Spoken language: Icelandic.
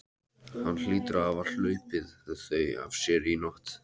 Hann hlýtur að hafa hlaupið þau af sér í nótt.